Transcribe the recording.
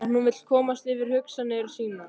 En hún vill komast yfir hugsanir sínar.